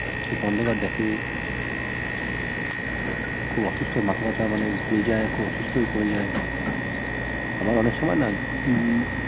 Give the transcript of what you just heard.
চোখে অন্ধকার দেখে খুব অসুস্থ হয়ে মাথা ব্যথা মানে ঘুরে যায় খুব অসুস্থ হয়ে পরে যায় আবার অনেক সময় না উম